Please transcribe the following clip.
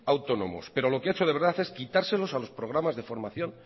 autónomos pero lo que ha hecho de verdad es quitárselos a los programas de formación